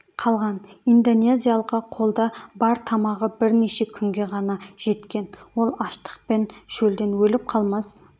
қалған индонезиялыққа қолда бар тамағы бірнеше күнге ғана жеткен ол аштық пен шөлден өліп қалмас